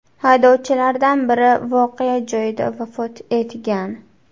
Haydovchilardan biri voqea joyida vafot etgan.